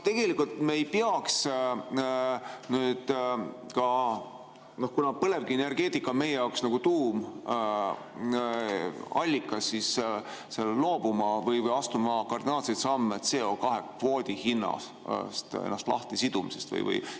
Kas me ei peaks nüüd, kuna põlevkivienergeetika on meie jaoks olnud nagu tuumallikas, astuma kardinaalseid samme, et end CO2‑kvoodi hinnast lahti siduda?